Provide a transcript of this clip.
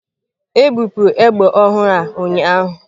Ebupụrụ egbe ọhụrụ a ụnyaahụ.